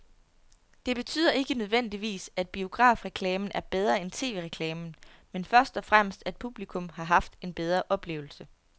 Det betyder ikke nødvendigvis, at biografreklamen er bedre end tv-reklamen, men først og fremmest at publikum har haft en bedre oplevelse.